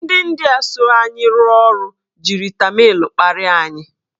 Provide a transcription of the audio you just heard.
Ndị India so anyị rụọ ọrụ jiri tamịl kparia anyị.